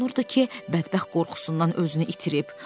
Hiss olunurdu ki, bədbəxt qorxusundan özünü itirib.